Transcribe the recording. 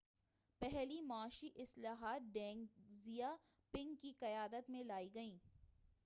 پہلی معاشی اصلاحات ڈینگ زیا پنگ کی قیادت میں لائی گئیں